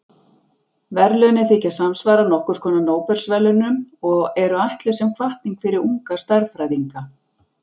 Verðlaunin þykja samsvara nokkurs konar Nóbelsverðlaunum og eru ætluð sem hvatning fyrir unga stærðfræðinga.